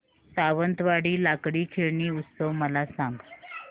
सावंतवाडी लाकडी खेळणी उत्सव मला सांग